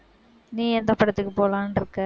நீ எந்த படத்துக்கு போலாம்னு இருக்க?